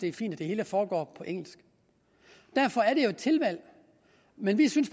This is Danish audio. er fint at det hele foregår på engelsk derfor er det jo et tilvalg men vi synes